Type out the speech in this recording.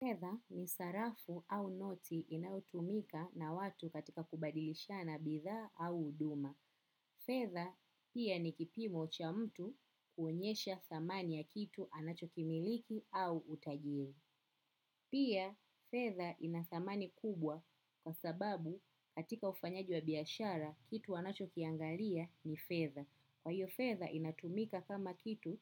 Fedha ni sarafu au noti inayotumika na watu katika kubadilishana bidhaa au huduma. Fedha pia ni kipimo cha mtu kuonyesha thamani ya kitu anacho kimiliki au utajiri. Pia fedha ina thamani kubwa kwa sababu katika ufanyaji wa biashara kitu wanacho kiangalia ni fedha. Kwa hiyo fedha inatumika kama kitu,